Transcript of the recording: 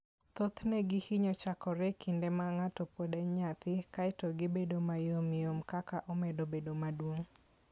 Thothne gihinyo chakore e kinde ma ng'ato pod en nyathi, kae to gibedo ma yom yom kaka omedo bedo maduong'.